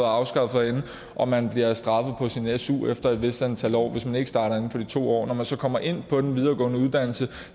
afskaffet herinde og man bliver straffet på sin su efter et vist antal år hvis man ikke starter inden for de to år når man så kommer ind på den videregående uddannelse